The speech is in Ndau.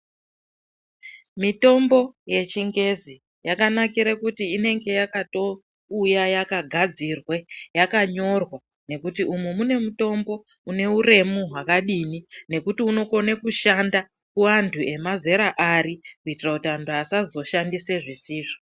Mitombo yechingezi yakanakire kuti inenge yakatouya yakatogadzirwa yakanyorwa. Nekuti umu mune mutombo une uremu hwakadini nekuti unokone kushanda kuvantu emazera ari. Kuitira kuti antu asazoshandise zvisizvo.